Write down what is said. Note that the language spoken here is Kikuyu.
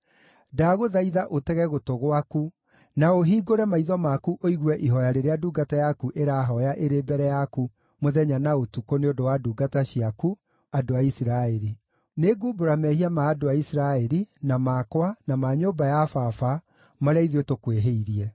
ndagũthaitha ũtege gũtũ gwaku, na ũhingũre maitho maku ũigue ihooya rĩrĩa ndungata yaku ĩrahooya ĩrĩ mbere yaku mũthenya na ũtukũ nĩ ũndũ wa ndungata ciaku, andũ a Isiraeli. Nĩngumbũra mehia ma andũ a Isiraeli, na makwa, na ma nyũmba ya baba, marĩa ithuĩ tũkwĩhĩirie.